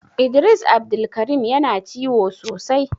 Idris Abdulkareem Yana ciwo sosai.